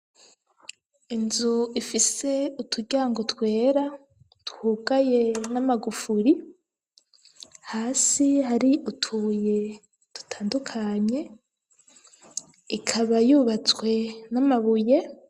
Inzu ifise uturyango twera twugaye n'amagufuri hasi hari utubuye dutandukanye ikaba yubatswe n'amabuye.